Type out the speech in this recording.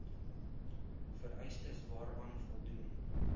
vereistes waaraan voldoen